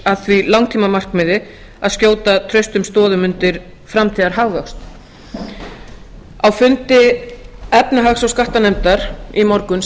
að því langtímamarkmiði að skjóta traustum stoðum undir framtíðarhagvöxt á fundi efnahags og skattanefndar í morgun